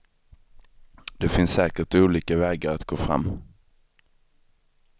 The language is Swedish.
Det finns säkert olika vägar att gå fram.